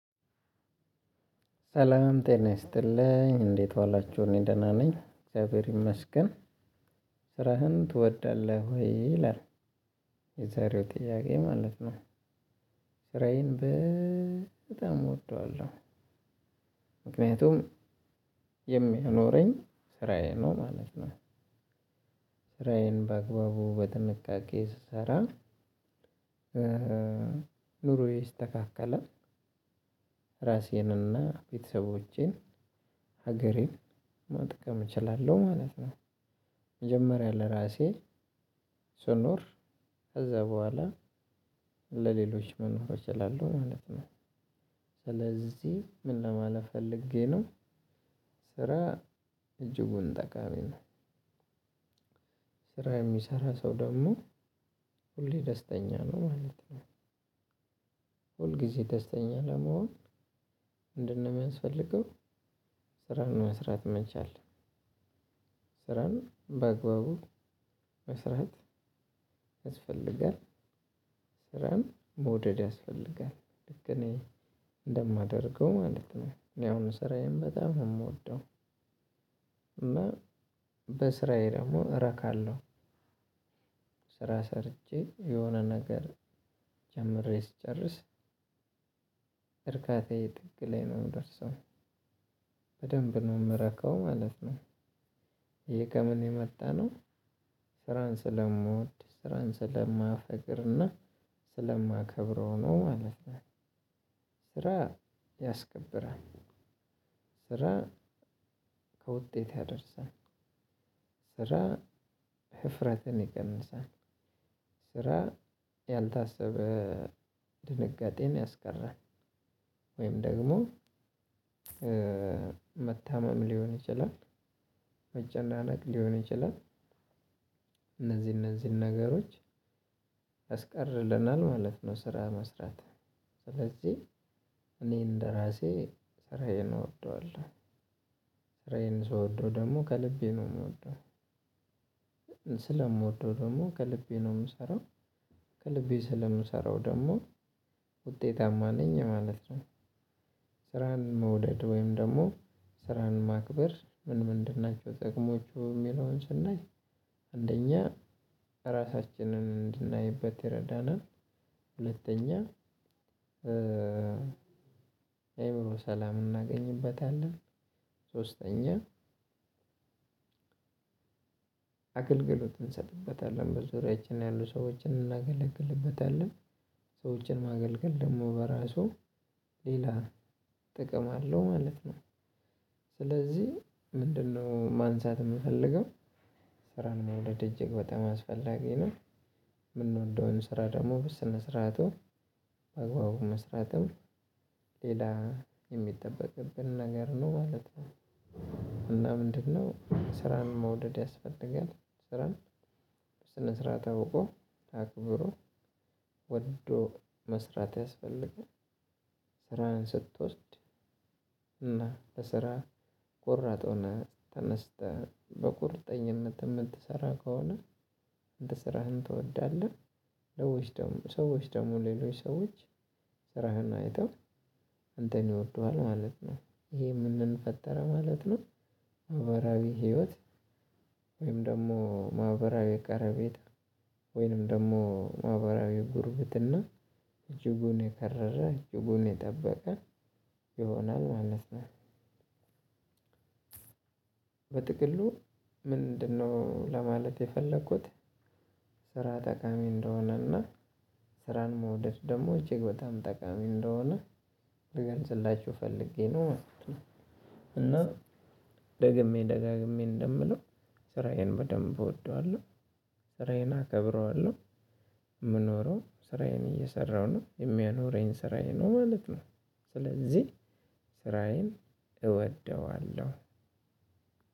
ሰላም ጤና ይስጥልኝ እንዴት ዋላችሁ እኔ ደህና ነኝ እግዚአብሔር ይመስገን። ስራህን ትወዳለህ ወይ? ይላል የዛሬው ጥያቄ ማለት ነው። ስራዬን በጣም እወደዋለሁ። ምክንያቱም የሚያኖረኝ ስራዬ ነው ማለት ነው። ስራዬን በአግባቡ በጥንቃቄ ስሰራ ኑሮዬ ይስተካካላል። ራሴንና ቤተሰቦቼን ሀገሬን መጥቀም እችላለሁ ማለት ነው። መጀመሪያ ለራሴ ስኖር ከዛ በኋላ ለሌሎች መኖር እችላለሁ ማለት ነው። ስለዚህ ምን ለማለት ፈልጌ ነው። ስራ እጅጉን ጠቃሚ ነው። ስራ የሚሰራ ሰው ደግሞ ሁሌ ደስተኛ ነው ማለት ነው። ሁል ጊዜ ደስተኛ ለመሆን? ምንድን ነው የሚያስፈልገው። ስራን መስራት መቻል ስራን በአግባቡ መስራት ያስፈልጋል። ስራን መውደድ ያስፈልጋል ልክ እኔ እንደማደርገው ማለት ነው። እኔ አሁን ስራዬን በጣም የምወደው እና በስራዬ ደግሞ እረካለሁ። ስራ ሰርቼ የሆነ ነገር ጀምሬ ስጨርስ እርካታዬ ጥግ ላይ ነው የሚደርሰው። በደንብ ነው የምረካው ማለት ነው። ይሄ ከምን የመጣ ነው? ስራን ስለምወድ ስራን ስለማፈቅርና ስለማከብረው ነው ማለት ነው። ስራ ያስከብራል። ስራ ከውጤት ያደርሳል። ስራ ህፍረትን ይቀንሳል። ስራ ያልታሰበ ድንጋጤን ያስቀራል። ወይም ደግሞ መታመም ሊሆን ይችላል። መጨናነቅ ሊሆን ይችላል። እነዚህ እነዚህን ነገሮች ያስቀርልናል ማለት ነው። ስራ መስራት ስለዚህ እኔ እንደራሴ ስራዬን እወደዋለሁ። ስራዬን ስወደው ደግሞ ከልቤ ነው የምወደው። ስለምወደው ደግሞ ከልቤ ነው የምሰራው። ከልቤ ስለምሰራው ደግሞ ውጤታማ ነኝ ማለት ነው። ስራን መውደድ ወይም ደግሞ ስራን ማክበር ምን ምንድን ናቸው ጥቅሞቹ? የሚለውን ስናይ አንደኛ ራሳችንን እንድናይበት ይረዳናል። ሁለተኛ የአእምሮ ሰላም እናገኝበታለን። ሶስተኛ አገልግሎት እንሰጥበታለን በዙሪያችን ያሉ ሰዎችን እናገለግልበታለን። ሰዎችን ማገልገል ደግሞ በራሱ ሌላ ጥቅም አለው ማለት ነው። ስለዚህ ምንድነው ማንሳት የምፈልገው? ስራን መውደድ እጅግ በጣም አስፈላጊ ነው። የምንወደውን ስራ ደግሞ በስነ ስርዓቱ በአግባቡ መስራትም ሌላ የሚጠበቅብን ነገር ነው ማለት ነው። እና ምንድነው ስራን መውደድ ያስፈልጋል። ስራን በስነ ስርዓት አውቆ አክብሮ ወዶ መስራት ያስፈልጋል። ስራህን ስትወስድ እና ለስራ ቆራጥ ሆነህ ተነስተህ በቁርጠኝነት የምትሰራ ከሆነ። አንድ ስራህን ትወዳለህ ሰዎች ደግሞ ሌሎች ሰዎች ስራህን አይተው አንተን ይወዱሀል ማለት ነው። ይሄ ምንን ፈጠረ ማለት ነው? ማህበራዊ ህይወት ወይም ደግሞ ማህበራዊ ቀረቤታ ወይም ደግሞ ማህበራዊ ጉርብትና እጅጉን የከረረ እጅጉን የጠበቀ ይሆናል ማለት ነው። በጥቅሉ ምንድን ነው ለማለት የፈልግኩት? ስራ ጠቃሚ እንደሆነና ስራን መውደድ ደግሞ እጅግ በጣም ጠቃሚ እንደሆነ ልገልጽላችሁ ፈልጌ ነው ማለት ነው። እና ደግሜ ደጋግሜ እንደምለው ስራዬን በደንብ እወደዋለሁ። ስራዬን አከብረዋለሁ። የምኖረው ስራዬን እየሰራሁ ነው የሚያኖረኝ ስራዬ ነው ማለት ነው። ስለዚህ ስራዬን እወደዋለሁ።